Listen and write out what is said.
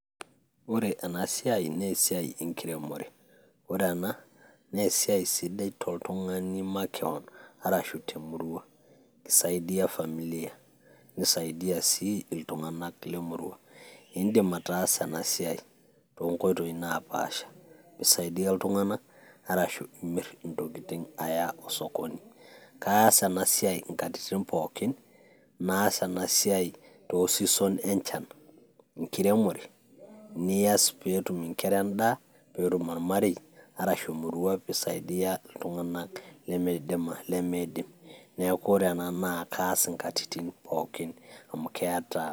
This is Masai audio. ore ena siai naa esiai enkiremore, ore ena naa esiai sidai toltung'ani makewon arashu temurua ki saidia familia nisaidia sii iltung'anak lemurua indim ataasa ena siai tonkoitoi napaasha pi saidia iltung'anak arashu imirr intokiting' aya osokoni kaas ena siai inkatitin pookin naas ena siai too season enchan enkiremore niyas peetum inkera endaa peetum ormarei arashu emurua pi saidia iltung'anak lemeidim neeku ore ena naa kas inkatitin pookin amu keeta.